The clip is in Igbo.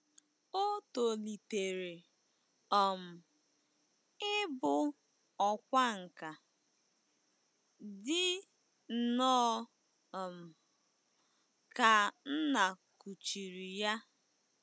O tolitere um ịbụ ọkwá nkà, dị nnọọ um ka nna kuchiri ya.